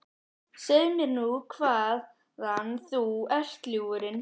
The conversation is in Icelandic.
Segðu mér nú hvaðan þú ert, ljúfurinn?